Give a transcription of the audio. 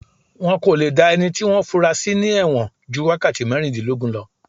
Wọ́n kò le dá ẹni tí wọ́n fúnra sí ní ẹ̀wọ̀n ju wákàtí mẹ́rìndínlógún lọ